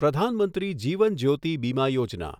Pradhan Mantri Jeevan Jyoti Bima Yojana